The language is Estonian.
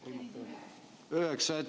Üheksas, jah?